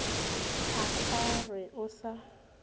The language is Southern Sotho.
a ka re o sa